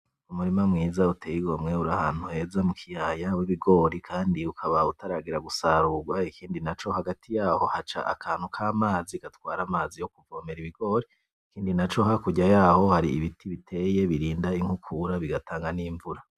Umurima mwiza uteye igomwe uri ahantu heza mu kiyaya wibigori kandi ukaba utaragera gusarurwa ikindi naco hagati yaho haca akantu kamazi gatwara amazi yo kuvomera ibigori. Ikindi naco hakurya yaho hari ibiti biteye birinda inkukura bigatanga n'imvura.